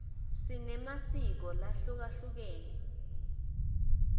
sinemasiko lahlukehlukene